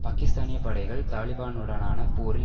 பாக்கிஸ்தானிய படைகள் தாலிபனுடனான போரில்